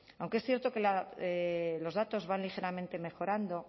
aunque es cierto que los datos van ligeramente mejorando